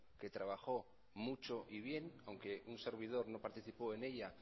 que trabajó mucho y bien aunque un servidor no participó en ella